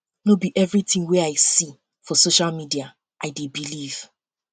no be everytin wey um i um see for social media um i dey believe